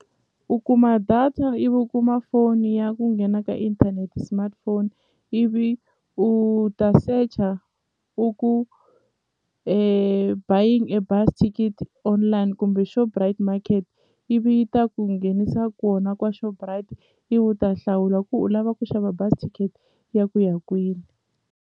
U kuma data ivi u kuma foni ya ku nghena ka inthanete smartphone ivi u ta search-a u ku buying a bus ticket online kumbe Shoprite Market ivi yi ta ku nghenisa kona kwa Shoprite ivi u ta hlawula ku u lava ku xava bazi ya ku ya kwini.